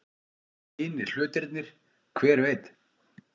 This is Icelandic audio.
Hinir hlutirnir. hver veit?